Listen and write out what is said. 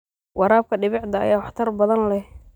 Waraabka dhibicda ayaa waxtar badan leh.